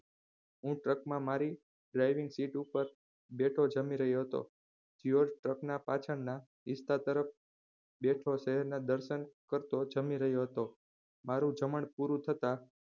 હું truck માં મારી driving seat ઉપર બેસી જામી રહ્યો હતો. જ્યોર્જ truck પાછળ ના હિસ્સા તરફ બેઠો શહેર ના દર્શન કરતો જામી રહ્યો હતો. મારુ જમણ પૂરું થતા.